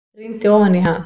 Rýndi ofan í hann.